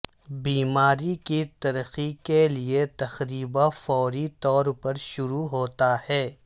بیماری کی ترقی کے لئے تقریبا فوری طور پر شروع ہوتا ہے